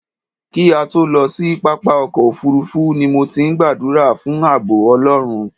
Kí a tó lọ sí pápá ọkọ̀ òfuurufú ni mo ti ń gbàdúrà fún ààbọ̀ Ọlọ́run.